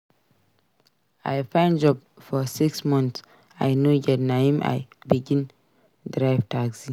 I find job for six months I no get na im I begin drive taxi.